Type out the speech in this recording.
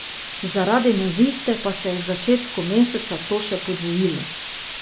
Zaradi nevihte pa se je v začetku meseca to še podvojilo.